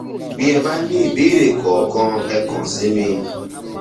bí ẹ bá ní ìbéèrè kankan ẹ kàn sí mi